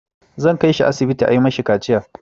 Zan kai shi asibiti a yi mai kaciya.